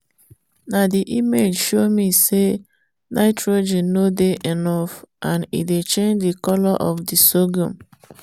na ndvi image show me say nitrogen no dey enough and e dey change the colour of thr sorghum.